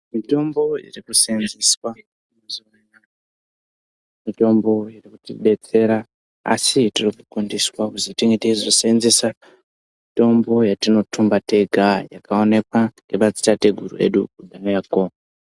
Mitombo yatiri kuseenzesa mitombo inotidetsera asi tinokurudzirwa tinge teizo seenzesa mitombo yatinotumba tega yakaonekwa ngema dzitateguru edu iriko.